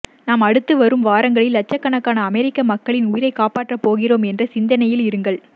நாம் அடுத்துவரும் வாரங்களில் லட்சக்கணக்கான அமெரிக்க மக்களின் உயிரைக் காப்பாற்றப் போகிறோம் என்ற சிந்தனையில் இருங்கள்